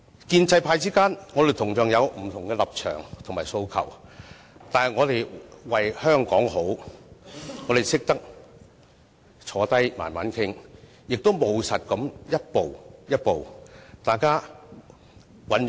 建制派之間，同樣有不同立場及訴求，但我們為了香港好，懂得坐下慢慢商量，務實地一步步尋求共識。